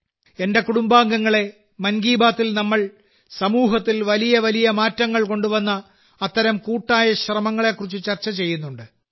എന്റെ കുടുംബാംഗങ്ങളേ മൻ കി ബാത്തിൽ നമ്മൾ സമൂഹത്തിൽ വലിയ വലിയ മാറ്റങ്ങൾ കൊണ്ടുവന്ന അത്തരം കൂട്ടായ ശ്രമങ്ങളെകുറിച്ച് ചർച്ച ചെയ്യുന്നുണ്ട്